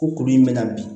Ko kuru in bɛ na bi